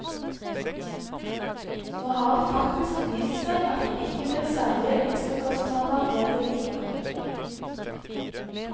Nå har det faktisk vist seg at det ikke blir særlige ekstrakostnader ved det likevel.